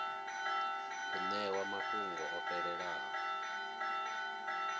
u ṋewa mafhungo o fhelelaho